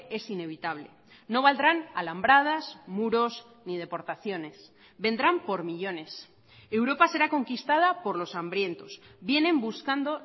es inevitable no valdrán alambradas muros ni deportaciones vendrán por millónes europa será conquistada por los hambrientos vienen buscando